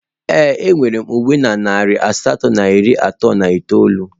Ee, enwere m uwe na narị asatọ na iri atọ na itoolu